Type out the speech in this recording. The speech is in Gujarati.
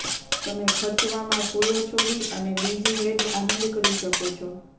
તમે ખર્ચવામાં ફૂલો છોડી અને બીજ હેડ આનંદ કરી શકો છો